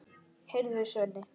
Heyrðu, Svenni!